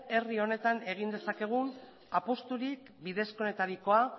herri honetan egin dezakegun apusturik bidezkoenetarikoa